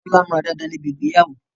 Tolani múra dáadáa níbi ìgbéyàwó